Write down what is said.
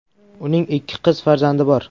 Uning ikki qiz farzandi bor.